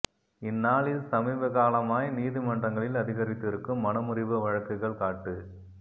இந்நாளில் சமீபகாலமாய் நீதிமன்றங்களில் அதிகரித்திருக்கும் மணமுறிவு வழக்குகள் காட்டு